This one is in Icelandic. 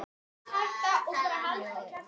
Ég vil fara í bíó